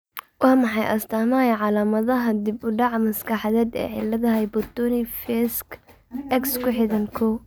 Waa maxay astaamaha iyo calaamadaha dib u dhac maskaxeed ee cillada hypotonic facieska X ku xidhan, kow?